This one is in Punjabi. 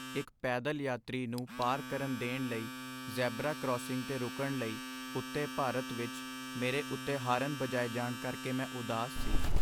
ਇੱਕ ਪੈਦਲ ਯਾਤਰੀ ਨੂੰ ਪਾਰ ਕਰਨ ਦੇਣ ਲਈ ਜ਼ੈਬਰਾ ਕਰਾਸਿੰਗ 'ਤੇ ਰੁਕਣ ਲਈ ਉੱਤੇ ਭਾਰਤ ਵਿੱਚ ਮੇਰੇ ਉੱਤੇ ਹਾਰਨ ਬਜਾਏ ਜਾਣ ਕਰਕੇ ਮੈਂ ਉਦਾਸ ਸੀ।